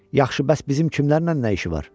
Yaxşı, bəs bizim kimlərlə nə işi var?